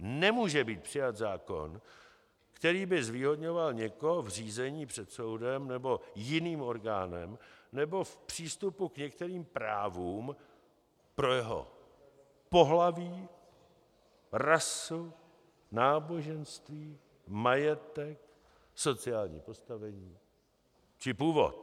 Nemůže být přijat zákon, který by zvýhodňoval někoho v řízení před soudem nebo jiným orgánem nebo v přístupu k některým právům pro jeho pohlaví, rasu, náboženství, majetek, sociální postavení či původ.